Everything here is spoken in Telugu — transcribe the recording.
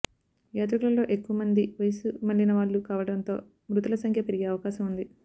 యాత్రికులలో ఎక్కువ మంది వయస్సుమళ్ళిన వాళ్లు కావడంతో మృతుల సంఖ్య పెరిగే అవకాశం ఉంది